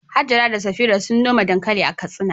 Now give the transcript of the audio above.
Hajara da Safira sun noma dankali a Katsina.